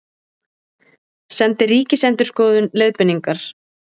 Sendi Ríkisendurskoðun leiðbeiningar